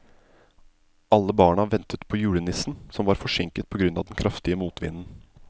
Alle barna ventet på julenissen, som var forsinket på grunn av den kraftige motvinden.